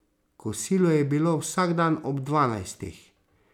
Kosilo je bilo vsak dan ob dvanajstih.